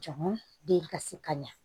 Jama den ka se ka ɲa